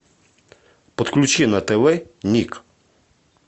подключи на тв ник